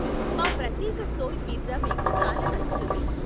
మా ప్రత్యేక soy pizza మీకు చాలా నచ్చుతుంది.